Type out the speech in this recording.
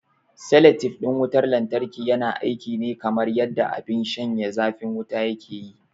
Salatif ɗin wutar lantarki yana aiki ne kamar yanda abin shanye zafin wuta yake yi.